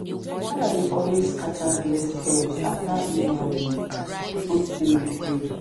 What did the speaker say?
dey always scatter blessed herbs after he um don clean the field.